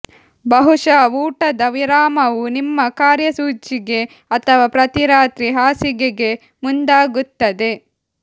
ಬಹುಶಃ ಊಟದ ವಿರಾಮವು ನಿಮ್ಮ ಕಾರ್ಯಸೂಚಿಗೆ ಅಥವಾ ಪ್ರತಿ ರಾತ್ರಿ ಹಾಸಿಗೆಗೆ ಮುಂದಾಗುತ್ತದೆ